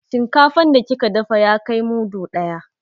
Shinkafan da kika dafa ya kai mudu ɗaya.